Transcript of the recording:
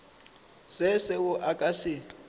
se seo a ka se